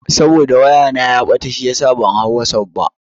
Saboda waya na ya ɓata shiyasa ban hau wasuf ba.